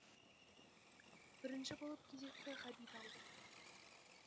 бірінші болып кезекті ғабит алды